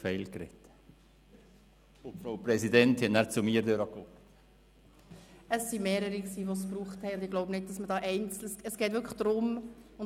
Aber wir haben vorhin über Totgeburten und Missbildungen gesprochen.